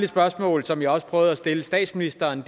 spørgsmål som jeg også prøvede at stille statsministeren